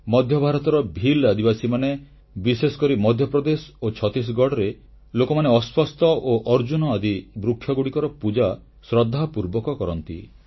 ମଧ୍ୟଭାରତର ଭୀଲ୍ ଆଦିବାସୀମାନେ ବିଶେଷକରି ମଧ୍ୟପ୍ରଦେଶ ଓ ଛତିଶଗଡ଼ରେ ଲୋକମାନେ ଅଶ୍ୱଥ୍ ଉସ୍ତ ଗଛ ଓ ଅର୍ଜୁନ ଆଦି ବୃକ୍ଷଗୁଡ଼ିକର ପୂଜା ଶ୍ରଦ୍ଧାପୂର୍ବକ କରନ୍ତି